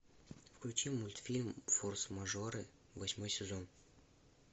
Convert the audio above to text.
включи мультфильм форс мажоры восьмой сезон